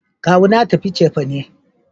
Kawu na ya tafi cefane